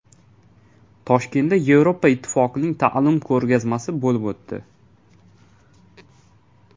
Toshkentda Yevropa Ittifoqining ta’lim ko‘rgazmasi bo‘lib o‘tdi.